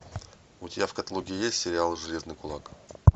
у тебя в каталоге есть сериал железный кулак